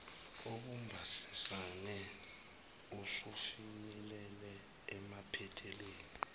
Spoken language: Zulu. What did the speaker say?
obubambisene usufinyelele emaphethelweni